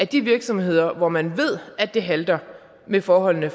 de virksomheder hvor man ved det halter med forholdene